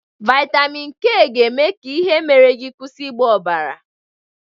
Vaịtamin K ga-eme ka ihe mere gị kwụsị ịgba ọbara.